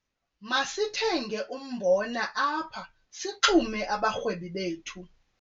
Masithenge umbona apha sixume abarhwebi bethu.